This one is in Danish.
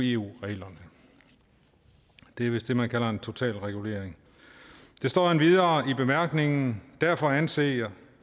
eu reglerne det er vist det man kalder en total regulering der står endvidere i bemærkningerne derfor anser